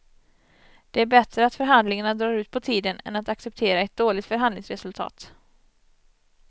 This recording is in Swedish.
Det är bättre att förhandlingarna drar ut på tiden än att acceptera ett dåligt förhandlingsresultat.